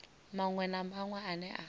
maṅwe na maṅwe ane a